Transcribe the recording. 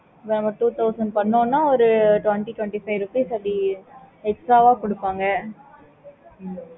okay mam